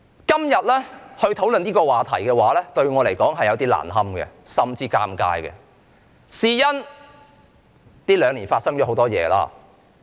今天討論這個話題對我而言實在有點難堪，甚至是尷尬，因為這兩年以來發生了很多事情。